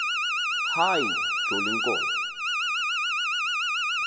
hayi joli nkomo